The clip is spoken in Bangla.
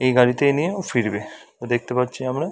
এই গাড়িতেই নিয়ে ও ফিরবে তো দেখতে পাচ্ছি আমরা ।